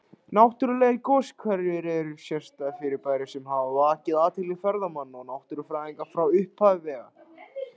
Náttúrlegir goshverir eru sérstæð fyrirbæri sem hafa vakið athygli ferðamanna og náttúrufræðinga frá upphafi vega.